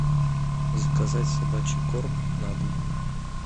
заказать собачий корм на дом